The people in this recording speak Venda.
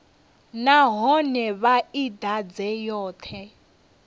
nahone vha i ḓadze yoṱhe